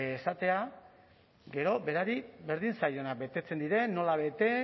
esatea gero berari berdin zaiona betetzen diren nola bete